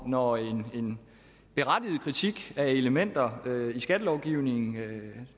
når en berettiget kritik af elementer i skattelovgivningen